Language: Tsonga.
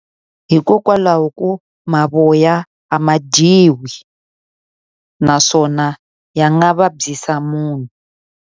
Hikokwalaho ko mavoya a ma dyiwi, naswona ya nga vabyisa munhu.